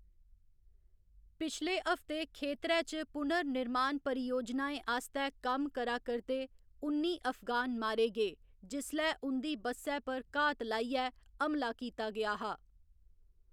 पिछले हफ्ते, खेतरै च पुनर्निर्माण परियोजनाएं आस्तै कम्म करा करदे उन्नी अफगान मारे गे, जिसलै उं'दी बस्सै पर घात लाइयै हमला कीता गेआ हा।